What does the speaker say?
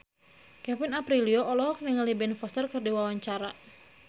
Kevin Aprilio olohok ningali Ben Foster keur diwawancara